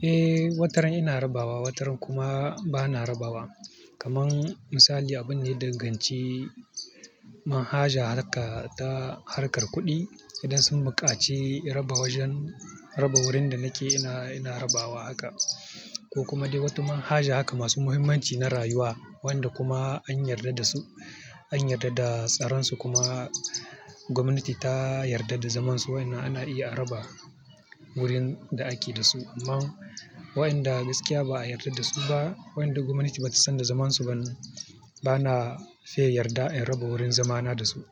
Eh, wataran ina raba wa, wataran kuma ba na raba wa. Kaman misali, abunda ya danganci, manhajar harka ta harkar kuɗi idan sun buƙaci raba wajan, raba wurin da nake ina, ina raba wa haka. Ko kuma dai wata manhaja haka masu muhimmanci na rayuwa wanda kuma an yarda da su, an yarda da tsaronsu kuma gwamnati ta yarda da zamansu, waƴannan ana iya a raba wurin da ake da su. Amma waɗanda gaskiya ba a yarda da su ba, waɗanda gwamnati ba ta san da zamansu ba, ba na fiya yarda in raba wurin zamana da su.